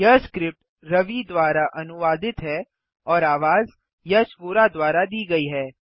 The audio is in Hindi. यह स्क्रिप्ट रवि द्वारा अनुवादित है और आवाज यश वोरा द्वारा दी गई है